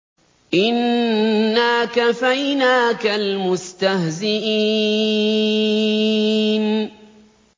إِنَّا كَفَيْنَاكَ الْمُسْتَهْزِئِينَ